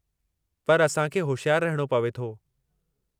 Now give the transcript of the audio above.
पर असां खे होशियारु रहिणो पवे थो।